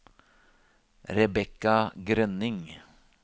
Rebekka Grønning